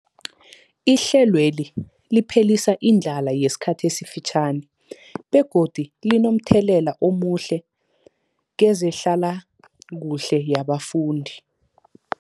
Ihlelweli liphelisa indlala yesikhathi esifitjhani begodu linomthelela omuhle kezehlalakuhle yabafundi.